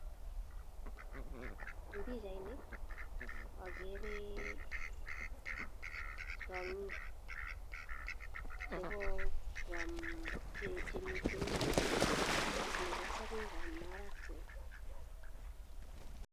En pichainit akere tiongik chemitet sokek ab marakwek.